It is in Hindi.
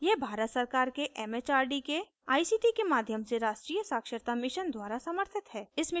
यह भारत सरकार के एमएचआरडी के आईसीटी के माध्यम से राष्ट्रीय साक्षरता mission द्वारा समर्थित है